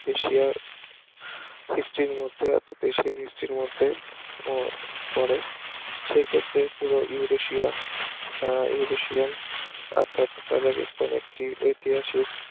এশিয়ার history এর মধ্যে এশিয়ান history এর মধ্যে ও পড়ে সেক্ষেত্রে পুরো ইউরেশিয়া আহ ইউরেশিয়ান অর্থাৎ কাজাকিস্তান একটি ঐতিহাসিক